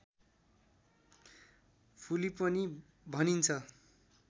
फुली पनि भनिन्छ